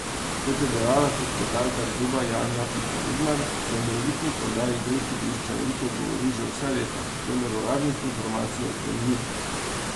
Kot je dejala sekretarka kluba Janja Pika Vidmar, se o morebitni prodaji golf igrišča veliko govori že vse leto, vendar uradnih informacij o tem ni.